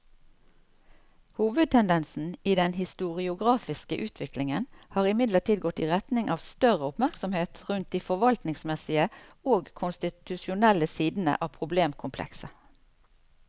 Hovedtendensen i den historiografiske utviklingen har imidlertid gått i retning av større oppmerksomhet rundt de forvaltningsmessige og konstitusjonelle sidene av problemkomplekset.